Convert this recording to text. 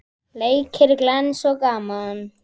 Leikir glens og gaman.